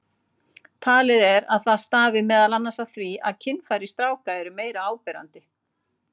Talið er að það stafi meðal annars af því að kynfæri stráka eru meira áberandi.